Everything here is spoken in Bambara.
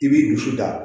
I b'i dusu ta